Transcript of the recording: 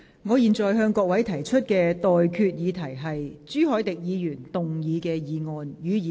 我現在向各位提出的待決議題是：朱凱廸議員動議的議案，予以通過。